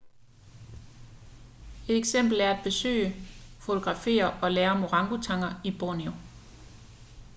et eksempel er at besøge fotografere og lære om orangutanger i borneo